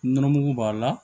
Nɔnɔ mugu b'a la